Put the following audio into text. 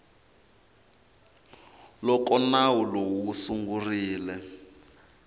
loko nawu lowu wu sungurile